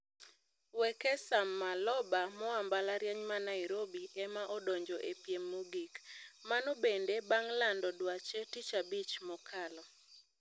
Wekesa Maloba moa mbalariany ma Nairobi ema odonjo e piem mogik. Mano bende bang' lando dwache tichabich mokalo.